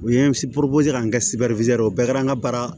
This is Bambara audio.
U ye k'an kɛ o bɛɛ kɛra an ka baara ye